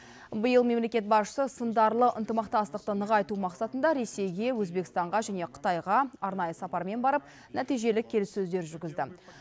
биыл мемлекет басшысы сындарлы ынтымақтастықты нығайту мақсатында ресейге өзбекстанға және қытайға арнайы сапармен барып нәтижелі келіссөздер жүргізді